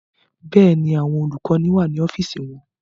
Bẹ́ẹ̀ni, àwọn olùkọ́ni wà ní ọ́fíìsì wọn